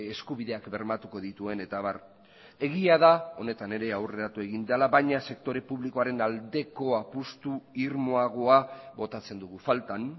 eskubideak bermatuko dituen eta abar egia da honetan ere aurreratu egin dela baina sektore publikoaren aldeko apustu irmoagoa botatzen dugu faltan